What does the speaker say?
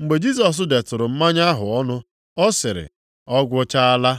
Mgbe Jisọs detụrụ mmanya ahụ ọnụ, ọ sịrị, “Ọ gwụchaala.”